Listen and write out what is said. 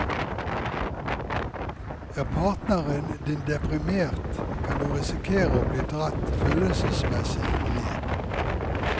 Er partneren din deprimert, kan du risikere å bli dratt følelsesmessig ned.